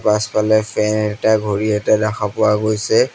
পাছফালে ফেন এটা ঘড়ী এটা দেখা পোৱা গৈছে।